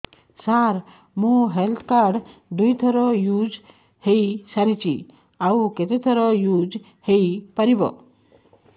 ସାର ମୋ health card ଦୁଇ ଥର ୟୁଜ଼ ହୈ ସାରିଛି ଆଉ କେତେ ଥର ୟୁଜ଼ ହୈ ପାରିବ